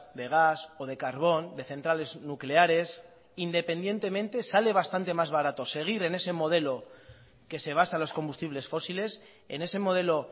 de gas o de carbón de centrales nucleares independientemente sale bastante más barato seguir en ese modelo que se basa los combustibles fósiles en ese modelo